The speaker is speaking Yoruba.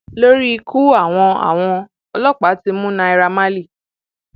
lórí ikú àwọn àwọn ọlọpàá ti mú naira marley